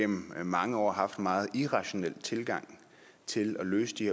gennem mange år har haft en meget irrationel tilgang til at løse de